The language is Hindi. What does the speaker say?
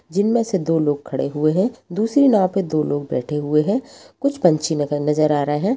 जिनमें से दो लोग खड़े हुए हैं दूसरी नाव में दो लोग बैठे हुए हैं कुछ पंछी नजर आ रहे हैं।